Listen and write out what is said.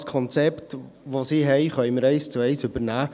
Das Konzept, das diese haben, können wir eins zu eins übernehmen.